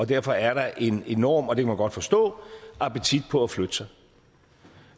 derfor er der en enorm og det kan man godt forstå appetit på at flytte sig